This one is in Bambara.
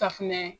Safunɛ